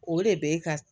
O de bɛ ka